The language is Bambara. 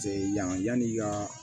Cɛ yan'i ka